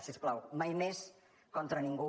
si us plau mai més contra ningú